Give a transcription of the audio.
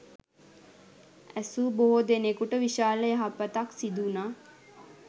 ඇසූ බොහෝ දෙනෙකුට විශාල යහපතක් සිදුවුනා.